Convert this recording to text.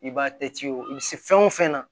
I b'a kɛ ci o bɛ se fɛn o fɛn na